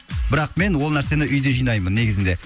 бірақ мен ол нәрсені үйде жинаймын негізінде